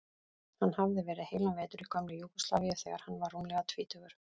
Hann hafði verið heilan vetur í gömlu Júgóslavíu þegar hann var rúmlega tvítugur.